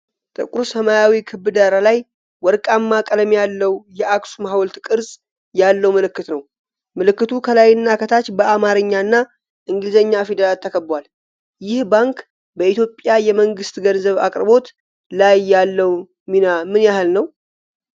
ጥቁር ሰማያዊ ክብ ዳራ ላይ፣ ወርቃማ ቀለም ያለው የአክሱም ሐውልት ቅርጽ ያለው ምልክት ነው። ምልክቱ ከላይና ከታች በአማርኛ እና እንግሊዝኛ ፊደላት ተከቧል። ይህ ባንክ በኢትዮጵያ የመንግስት ገንዘብ አቅርቦት ላይ ያለው ሚና ምን ያህል ነው?